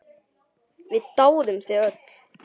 Við dáðum þig öll.